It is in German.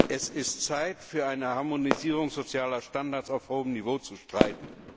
Es ist Zeit, für eine Harmonisierung sozialer Standards auf hohem Niveau zu streiten.